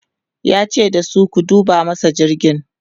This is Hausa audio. yace dasu "ku duba masa jirgin!'